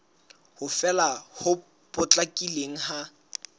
ho fela ho potlakileng ha